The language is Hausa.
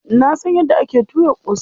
Na san yadda ake tuyar ƙosai.